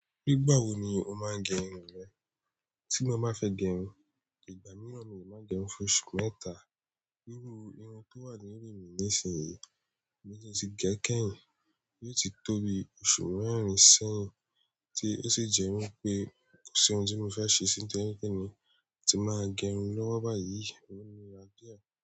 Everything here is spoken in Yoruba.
Nígbà wo ni o máa ń gẹ irun rẹ? Tí mo bá fẹ́ gẹ irun, ìgbà mìíràn mi ò máa gẹ irun fún oṣù mẹ́ta. Iru irun tó wà lórí mi ní sìnyí, mo ti gẹ̀ kẹ̀yin, yóò ti tó bi oṣù mẹ́rin sẹ̀yin, tí ó sì jẹ́ wípé kò sí ohun tí mo fẹ́ ṣe sí. Tó je wí pe èmi ti máa gẹ irun lọ́wọ́ báyìí. Iru.